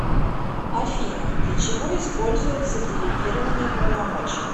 афина для чего используется делегирование полномочий